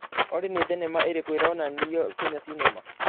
olly nĩ thenema irĩkũ ironanĩo kenya cinema